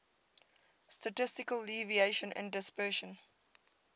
statistical deviation and dispersion